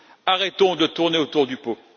Arrêtons de tourner autour du pot!